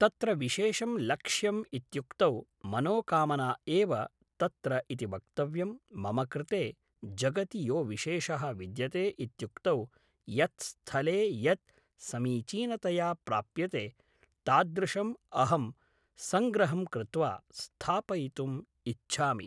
तत्र विशेषं लक्ष्यं इत्युक्तौ मनोकामना एव तत्र इति वक्तव्यं मम कृते जगति यो विशेषः विद्यते इत्युक्तौ यत्स्थले यद् समीचीनतया प्राप्यते तादृशं अहं सङ्ग्रहं कृत्वा स्थापयितुम् इच्छामि